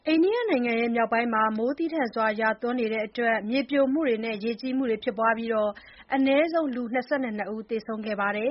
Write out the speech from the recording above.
အိန္ဒိယနိုင်ငံ မြောက်ပိုင်းမှာ မိုးသည်းထန်စွာ ရွာသွန်းနေတဲ့အတွက် မြေပြိုမှုတွေနဲ့ ရေကြီးမှုတွေ ဖြစ်ပွားခဲ့ပြီး အနည်းဆုံး လူ ၂၂ ဦး သေဆုံးခဲ့ပါတယ်